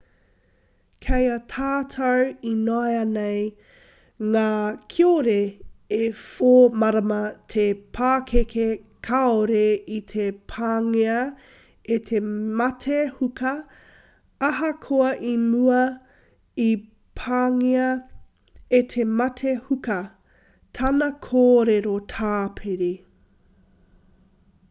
kei a tātou ināianei ngā kiore e 4-marama te pakeke kāore i te pāngia e te mate huka ahakoa i mua i pāngia e te mate huka tana kōrero tāpiri